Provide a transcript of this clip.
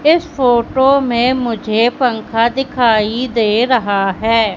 इस फोटो मे मुझे पंखा दिखाई दे रहा है।